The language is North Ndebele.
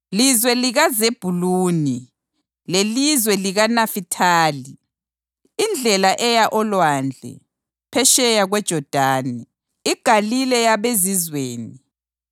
“Lizwe likaZebhuluni lelizwe likaNafithali, iNdlela eya oLwandle, phetsheya kweJodani, iGalile yabeZizweni,